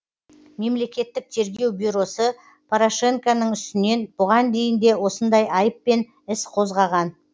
мемлекеттік тергеу бюросы порошенконың үстінен бұған дейін де осындай айыппен іс қозғаған